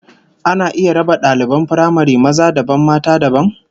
Ana iya raba daliban firamare maza dabam mata dabam?